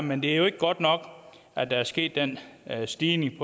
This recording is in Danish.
men det er jo ikke godt nok at der er sket den stigning i